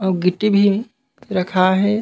आऊ गिट्टी भी रखाये हे।